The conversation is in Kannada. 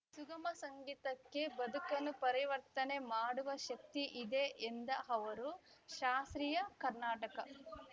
ಸುಗಮ ಸಂಗೀತಕ್ಕೆ ಬದುಕನ್ನು ಪರಿವರ್ತನೆ ಮಾಡುವ ಶಕ್ತಿ ಇದೆ ಎಂದ ಅವರು ಶಾಸ್ತ್ರೀಯ ಕರ್ನಾಟಕ